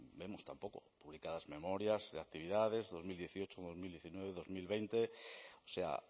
vemos tampoco publicadas memorias de actividades dos mil dieciocho dos mil diecinueve dos mil veinte o sea